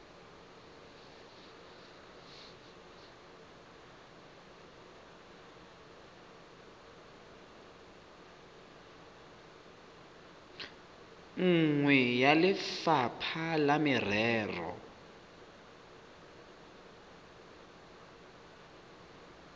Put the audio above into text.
nngwe ya lefapha la merero